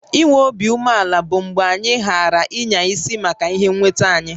I nwé obi umeàlà bụ mgbe anyị ghààrà ịnya isi maka ihé nwétá anyị